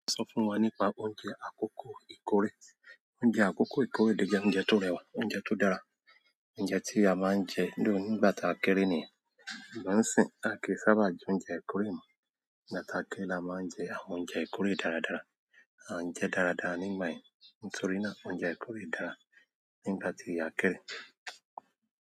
Sọ fún wa nípa oúnjẹ àkọ́kọ́ ìkórè. Oúnjẹ àkọ́kọ́ ìkórè lo je oúnjẹ tó rẹwà, oúnjẹ tó dára, oúnjẹ tí a máa ń jẹ́ though nígbà ta a kéré niyen. Ṣùgbọ́n nsin à a kíi sábà jẹ oúnjẹ ìkórè mọ, nígbà ta a kéré la máa ń jẹ àwọn oúnjẹ ìkórè dáradára. À ń jẹ dáradára nígbà yen, nítorí náà oúnjẹ ìkórè dára nígbà tí a kerẹ̀.